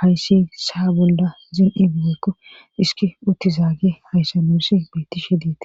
hayssi saa bolla zin7ibigeykko hiski utti zaage hayssanussi beettishe deettes.